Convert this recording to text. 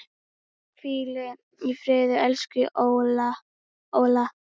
Hvíl í friði, elsku Óla.